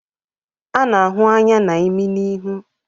A na-ahụ anya na imi na ihu